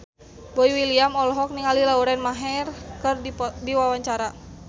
Boy William olohok ningali Lauren Maher keur diwawancara